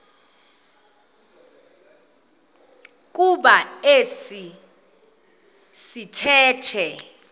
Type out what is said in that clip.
kuba esi sithethe